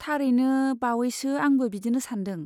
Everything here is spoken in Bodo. थारैनो बावैसो आंबो बिदिनो सान्दों।